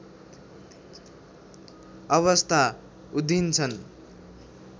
अवस्था उधिन्छन्